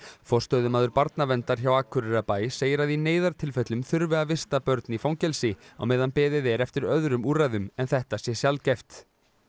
forstöðumaður barnaverndar hjá Akureyrarbæ segir að í neyðartilfellum þurfi að vista börn í fangelsi á meðan beðið er eftir öðrum úrræðum en þetta sé sjaldgæft